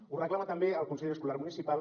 ho reclama també el consell escolar municipal